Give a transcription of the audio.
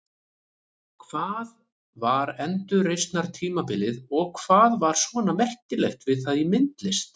Hvað var endurreisnartímabilið og hvað var svona merkilegt við það í myndlist?